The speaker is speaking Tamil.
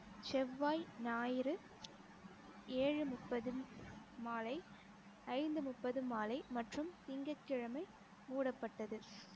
செவ்வாய் ஞாயிறு ஏழு முப்பது மாலை ஐந்து முப்பது மாலை மற்றும் திங்கட்கிழமை மூடப்பட்டது